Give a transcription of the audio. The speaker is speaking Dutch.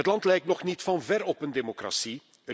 Het land lijkt nog niet van ver op een democratie.